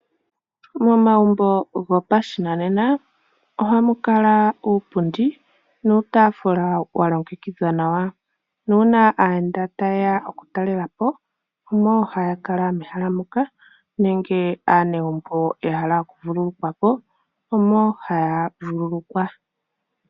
Momagumbo gopashinanena ohamukala uupundi nuutaafula walongekidhwa nawa. Nuuna aayenda tayeya okutalelapo omo haya kala mehala moka nenge aanegumbo yahala okuvululukwapo omo haya vululukwa.